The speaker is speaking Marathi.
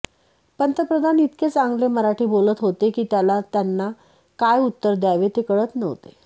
पंतप्रधान इतके चांगले मराठी बोलत होते की त्याला त्यांना काय उत्तर द्यावे ते कळत नव्हते